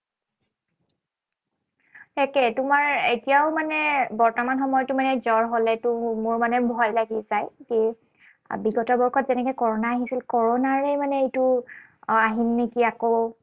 তাকে, তোমাৰ এতিয়াও মানে বৰ্তমান সময়ত জ্বৰ হলেতো মোৰ মানে ভয় লাগি যায়। এই বিগত বৰ্ষত যেনেকে কৰনা আহিছিল, কৰনাৰে মানে এইটো আহিল নেকি আকৌ।